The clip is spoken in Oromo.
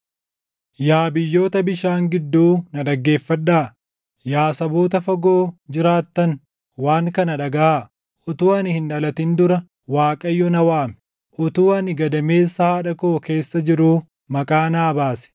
Yaa biyyoota bishaan gidduu na dhaggeeffadhaa; yaa saboota fagoo jiraattan waan kana dhagaʼaa: Utuu ani hin dhalatin dura Waaqayyo na waame; utuu ani gadameessa haadha koo keessa jiruu maqaa naa baase.